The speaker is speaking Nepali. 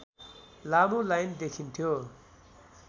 लामो लाइन देखिन्थ्यो